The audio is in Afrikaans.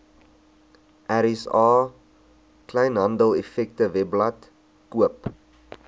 rsa kleinhandeleffektewebblad koop